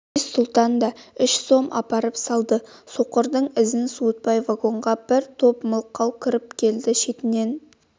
әзиз-сұлтан да үш сом апарып салды соқырдың ізін суытпай вагонға бір топ мылқау кіріп келді шетінен